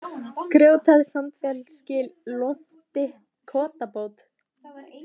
Grjóthæð, Sandfellsgil, Lonti, Kotabót